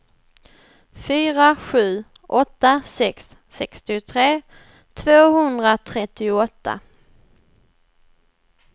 fyra sju åtta sex sextiotre tvåhundratrettioåtta